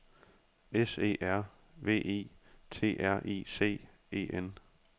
S E R V I T R I C E N